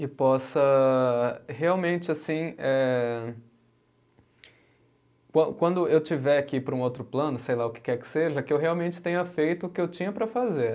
E possa realmente, assim, eh qua quando eu tiver que ir para um outro plano, sei lá o que quer que seja, que eu realmente tenha feito o que eu tinha para fazer.